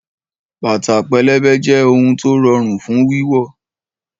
Bàtà pẹlẹbẹ jẹ́ ohun tó rọrùn fún wíwọ̀